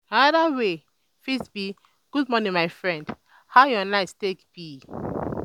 anoda way fit be "good morning my friend how yur night take be?"